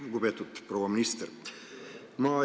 Lugupeetud proua minister!